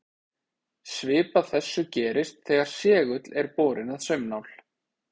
Svipað þessu gerist þegar segull er borinn að saumnál.